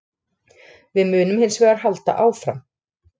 Við munum hins vegar halda áfram